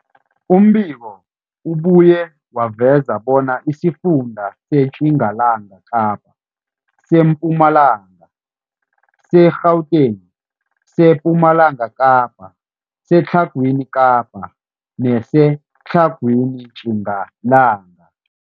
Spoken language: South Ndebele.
Umbiko ubuye waveza bona isifunda seTjingalanga Kapa, seMpumalanga, seGauteng, sePumalanga Kapa, seTlhagwini Kapa neseTlhagwini Tjingalanga.